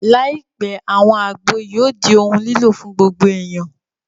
Láìpẹ́, àwọn àgbo yóò di ohun lílò fún gbogbo èèyàn